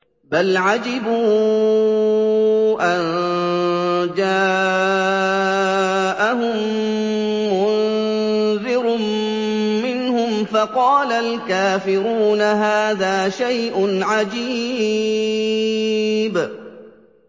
بَلْ عَجِبُوا أَن جَاءَهُم مُّنذِرٌ مِّنْهُمْ فَقَالَ الْكَافِرُونَ هَٰذَا شَيْءٌ عَجِيبٌ